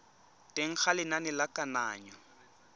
teng ga lenane la kananyo